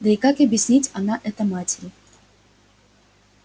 да и как объяснит она это матери